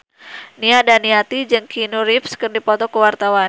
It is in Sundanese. Nia Daniati jeung Keanu Reeves keur dipoto ku wartawan